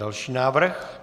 Další návrh.